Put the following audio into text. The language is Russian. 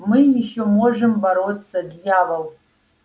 мы ещё можем бороться дьявол